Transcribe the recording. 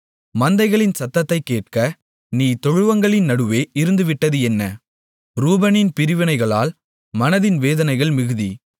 மந்தைகளின் சத்தத்தைக் கேட்க நீ தொழுவங்களின் நடுவே இருந்துவிட்டது என்ன ரூபனின் பிரிவினைகளால் மனதின் வேதனைகள் மிகுதி